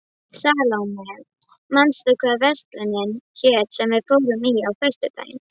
Salóme, manstu hvað verslunin hét sem við fórum í á föstudaginn?